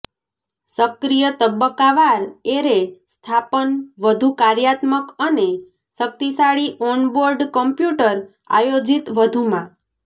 સક્રિય તબક્કાવાર એરે સ્થાપન વધુ કાર્યાત્મક અને શક્તિશાળી ઓનબોર્ડ કમ્પ્યુટર આયોજિત વધુમાં